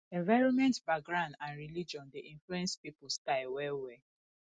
environment background and religion de influence pipo style well well